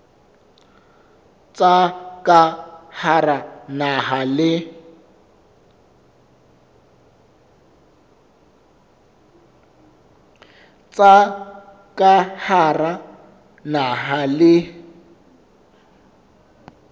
tsa ka hara naha le